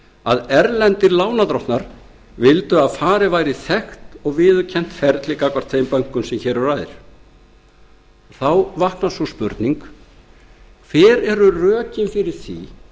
að erlendir lánardrottnar vildu að farið væri í þekkt og viðurkennt ferli gagnvart þeim bönkum sem hér um ræðir þá vaknar sú spurning hver eru þá rökin fyrir því